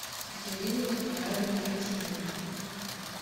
екатерину николаевну герасименко